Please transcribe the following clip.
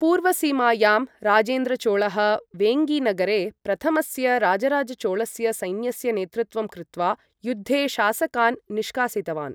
पूर्वसीमायां राजेन्द्रचोळः वेङ्गीनगरे प्रथमस्य राजराजचोळस्य सैन्यस्य नेतृत्वं कृत्वा, युद्धे शासकान् निष्कासितवान्।